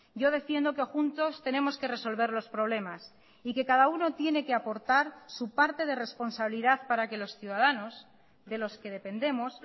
yo defiendo que juntos tenemos que resolver los problemas y que cada uno tiene que aportar su parte de responsabilidad para que los ciudadanos de los que dependemos